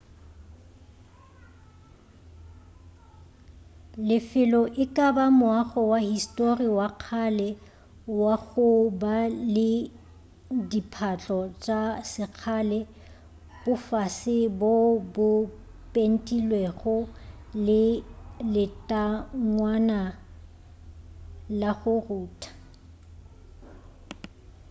lefelo e ka ba moago wa histori wa kgale wa go ba le diphatlo tša sekgale bofase boo bo pentilwego le letangwana la go rutha